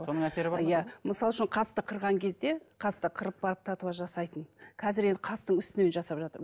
мысал үшін қасты қырған кезде қасты қырып барып татуаж жасайтын қазір енді қастың үстіне жасап жатыр